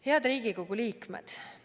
Head Riigikogu liikmed!